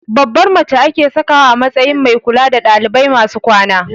Babbar mace ake sakawa a matsayin mai kula da ɗalibai masu kwana